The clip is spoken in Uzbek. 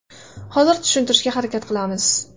Hozir tushuntirishga harakat qilamiz.